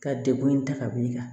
Ka degun in ta ka wuli ka